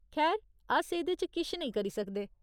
खैर, अस एह्दे च किश नेईं करी सकदे।